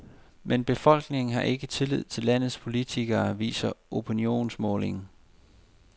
Men befolkningen har ikke tillid til landets politikere, viser opinionsmåling.